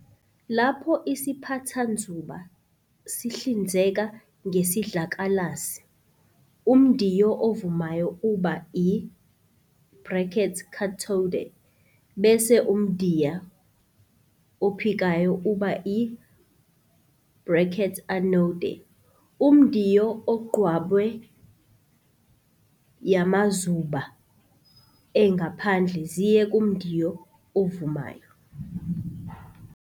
Lapho isiphathanzuba sihlinzeka ngesidlakalasi, umdiyo ovumayo uba i brackets cathode" bese umdiyo ophikayo uba i brackets anode". Umdiyo ogqabwe ophikayo ungumthombo wezinzuba ezigobhoza kuntandelo yamazuba engaphandle ziye kumdiyo ovumayo.